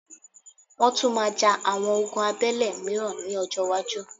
Wọ́́n tún máa ja àwọn ogun abẹ́lé mìíràn ní ọjọ́-iwájú.